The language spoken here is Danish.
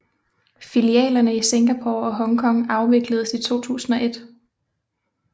Filialerne i Singapore og Hong Kong afvikledes i 2001